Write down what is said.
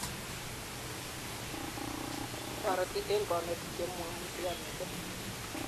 Torete eng konetik chemaimuchke mising